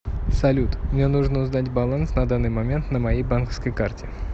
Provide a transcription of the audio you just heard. салют мне нужно узнать баланс на данный момент на моей банковской карте